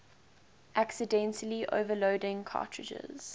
accidentally overloading cartridges